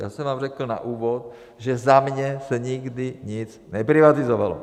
Já jsem vám řekl na úvod, že za mě se nikdy nic neprivatizovalo.